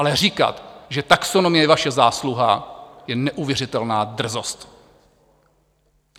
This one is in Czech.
Ale říkat, že taxonomie je vaše zásluha, je neuvěřitelná drzost.